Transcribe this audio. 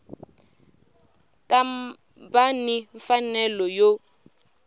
ta va ni mfanelo yo